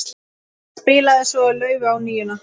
Spilaði svo laufi á NÍUNA.